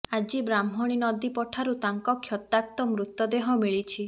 ଆଜି ବ୍ରାହ୍ମଣୀ ନଦୀ ପଠାରୁ ତାଙ୍କ କ୍ଷତାକ୍ତ ମୃତ ଦେହ ମିଳିଛି